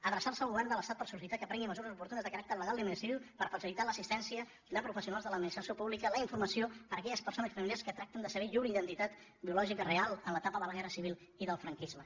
adreçar se al govern de l’estat per sol·licitar que prengui mesures oportunes de caràcter legal i administratiu per facilitar amb l’assistència de professionals de l’administració pública la informació per a aquelles persones i familiars que tracten de saber llur identitat biològica real en l’etapa de la guerra civil i del franquisme